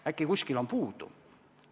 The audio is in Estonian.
Äkki kuskil on inimesi puudu?